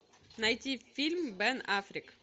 найти фильм бен аффлек